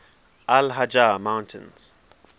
al hajar mountains